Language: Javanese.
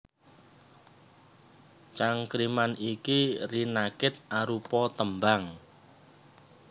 Cangkriman iki rinakit arupa tembang